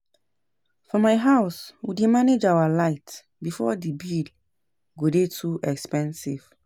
For my house we dey manage our light before the bill go dey too expensive